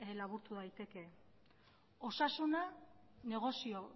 laburtu daiteke osasuna negozio